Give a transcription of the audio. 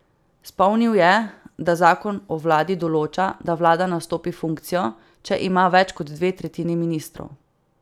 Spomnil je, da zakon o vladi določa, da vlada nastopi funkcijo, če ima več kot dve tretjini ministrov.